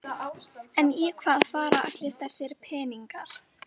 En í hvað fara allir þessir peningar?